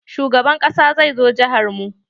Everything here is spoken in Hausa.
Shugaban ƙasa zai zo jihar mu.